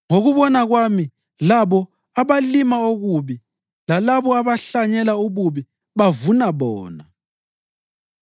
Ngokubona kwami labo abalima okubi lalabo abahlanyela ububi bavuna bona.